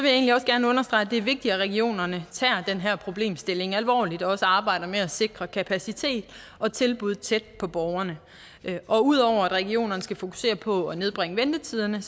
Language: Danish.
gerne understrege at det er vigtigt at regionerne tager den her problemstilling alvorligt og også arbejder med at sikre kapacitet og tilbud tæt på borgerne og ud over at regionerne skal fokusere på at nedbringe ventetiderne